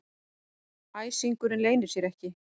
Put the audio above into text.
Æsingurinn leynir sér ekki.